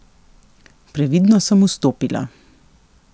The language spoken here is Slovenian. Previdno sem vstopila.